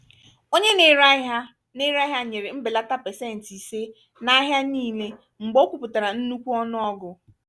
onye na-ere ahịa na-ere ahịa nyere mbelata pecenti ise na ahia niile mgbe o kwupụtara nnukwu ọnụọgụ